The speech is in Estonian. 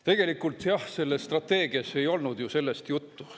Tegelikult jah, selles strateegias ei olnud ju sellest juttu.